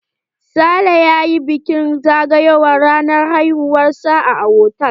Sale ya yi bikin zagayowar ranar haihuwar sa a hotal.